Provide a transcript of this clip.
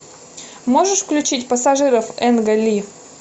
можешь включить пассажиров энгли